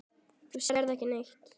Þú sérð ekki neitt!